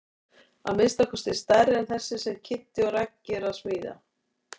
Að minnsta kosti stærri en þessi sem Kiddi og Raggi eru að smíða.